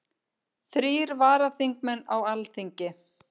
Þrír varaþingmenn á Alþingi